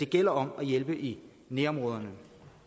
gælder om at hjælpe i nærområderne